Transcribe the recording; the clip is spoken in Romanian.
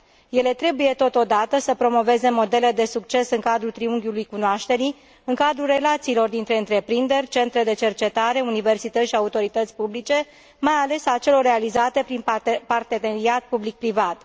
Ele trebuie totodată să promoveze modele de succes în cadrul triunghiului cunoașterii, în cadrul relațiilor dintre întreprinderi, centre de cercetare, universități și autorități publice, mai ales a celor realizate prin parteneriat public privat.